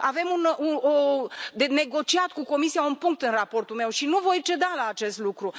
Avem de negociat cu Comisia un punct în raportul meu și nu voi ceda la acest lucru.